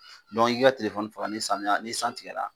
Dɔnku i ka telefɔni faga samiya ni san tigɛla